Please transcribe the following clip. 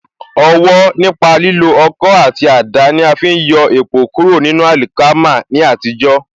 Ọwọ̀ nípa lílo Ọkọ́ àti àdá ní afi ń yọ èpò kúrò nínú àlìkámà ní àtijó.